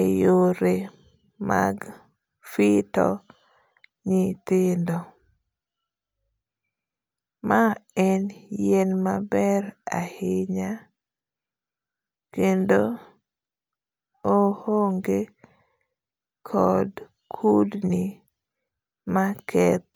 e yore mag fito nyithindo, ma en yien maber ahinya kendo ohonge kod kudni makethe